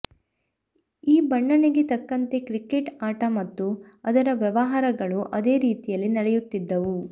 ಈ ಬಣ್ಣನೆಗೆ ತಕ್ಕಂತೆ ಕ್ರಿಕೆಟ್ ಆಟ ಮತ್ತು ಅದರ ವ್ಯವಹಾರಗಳು ಅದೇ ರೀತಿಯಲ್ಲಿ ನಡೆಯುತ್ತಿದ್ದವು